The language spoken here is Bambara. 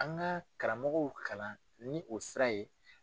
An ka karamɔgɔw kalan ni o sira ye.